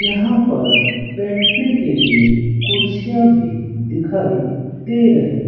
यहां पर बैठने के लिए कुर्सियां भी दिखाई दे रही--